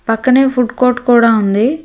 పక్కనే food court కూడా ఉంది.